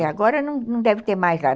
E agora não deve ter mais lá.